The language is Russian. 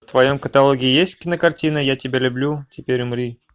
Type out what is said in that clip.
в твоем каталоге есть кинокартина я тебя люблю теперь умри